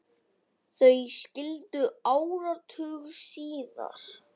Þau skildu áratug síðar.